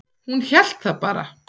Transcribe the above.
Hún hélt það bara.